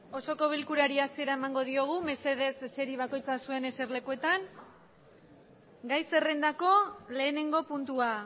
osoko bilkurari hasiera emango diogu mesedez eseri bakoitza zuen eserlekuetan gai zerrendako lehenengo puntua